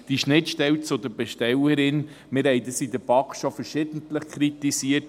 diese Schnittstelle zur Bestellerin … Wir haben dies in der BaK schon verschiedentlich kritisiert;